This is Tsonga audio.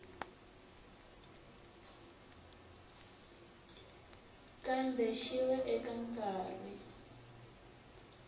kambe xi va eka nkarhi